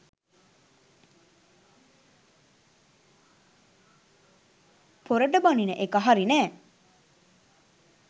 පොරට බණින එක හරි නෑ